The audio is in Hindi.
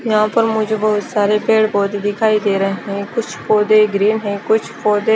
यहाँ पर मुझे बहोत सारे पेड़ पौधे दिखाई दे रहे है कुछ पौधे ग्रीन है कुछ पौधे--